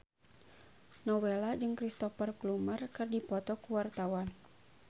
Nowela jeung Cristhoper Plumer keur dipoto ku wartawan